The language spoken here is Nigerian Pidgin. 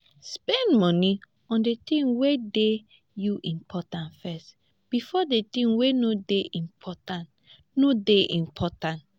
spend money on di things wey dey you important first before di things wey no dey important no dey important